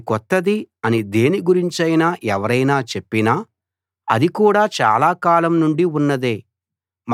ఇది కొత్తది అని దేని గురించైనా ఎవరైనా చెప్పినా అది కూడా చాలా కాలం నుండీ ఉన్నదే